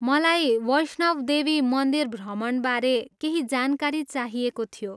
मलाई वैष्णव देवी मन्दिर भ्रमणबारे केही जानकारी चाहिएको थियो ।